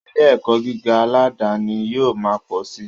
Ilé ẹ̀kọ́ gíga aládani yóò ma pọ̀ si